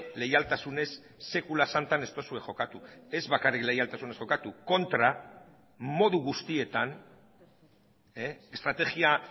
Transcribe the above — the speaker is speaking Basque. leialtasunez sekula santan ez duzue jokatu ez bakarrik leialtasunez jokatu kontra modu guztietan estrategia